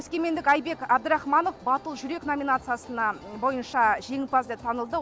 өскемендік айбек әбдірахманов батыл жүрек номинациясына бойынша жеңімпаз деп танылды